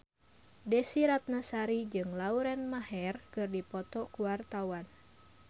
Desy Ratnasari jeung Lauren Maher keur dipoto ku wartawan